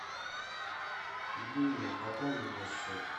любимая пополни мне счет